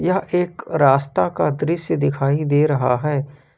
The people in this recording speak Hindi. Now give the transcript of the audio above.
यह एक रास्ता का दृश्य दिखाई दे रहा है।